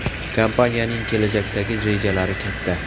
Kompaniyaning kelajakdagi rejalari katta.